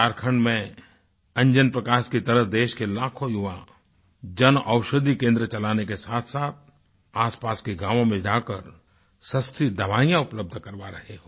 झारखंड में अंजन प्रकाश की तरह देश के लाखों युवाजन औषधि केंद्र चलाने के साथसाथ आसपास के गावों में जाकर सस्ती दवाइयाँ उपलब्ध करवा रहे हों